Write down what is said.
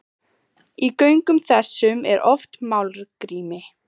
Í göngum þessum er oft málmgrýti.